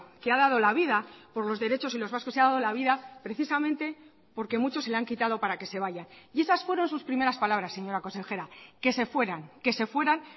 que ha dado la vida por los derechos y los vascos se ha dado la vida precisamente porque muchos se la han quitado para que se vayan y esas fueron sus primeras palabras señora consejera que se fueran que se fueran